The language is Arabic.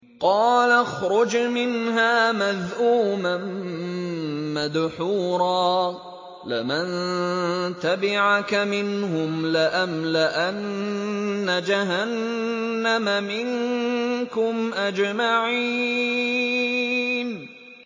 قَالَ اخْرُجْ مِنْهَا مَذْءُومًا مَّدْحُورًا ۖ لَّمَن تَبِعَكَ مِنْهُمْ لَأَمْلَأَنَّ جَهَنَّمَ مِنكُمْ أَجْمَعِينَ